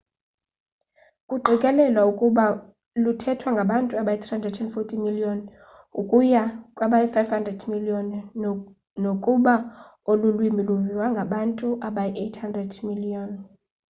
kuqikelelwa ukuba luthethwa ngabantu abayi-340 miliyoni ukuya kwabayi-500 miliyoni nokuba olu lwimi luviwa ngabantu abayi-800 miliyoni